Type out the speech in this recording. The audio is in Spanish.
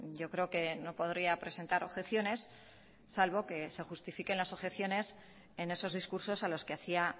yo creo que no podría presentar objeciones salvo que se justifiquen las objeciones en esos discursos a los que hacía